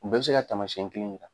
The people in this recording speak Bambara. U bɛɛ be se ka taamasiɲɛn kelen yira.